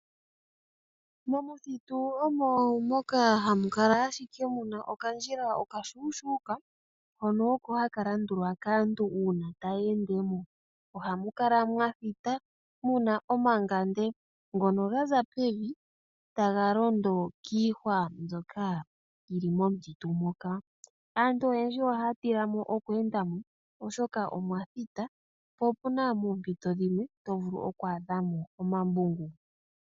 Momuthitu omo moka hamu kala ashike okandjila okashuushuka hono oko haka landulwa kaantu uuna taya ende mo. Ohamu kala mwa thita, muna omangande ano gaza pevi taga londo kiihwa mbyoka yi li mo momuthitu moka. Aantu oyendji ohaya tila mono okweenda mo, oshoka omwa thita po opuna moompito dhimwe to vulu oku adha mo omambungu.